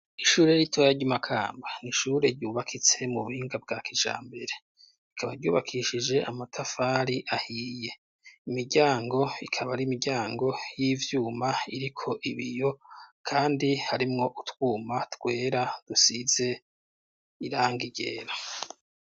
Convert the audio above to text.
Ishure ritoya ryi Makamba nishure ryubakitse mu buhinga bwa kijambere ikaba ryubakishije amatafari ahiye imiryango ikaba ari imiryango y'ivyuma iriko ibiyo kandi harimwo utwuma twera dusize irangigera.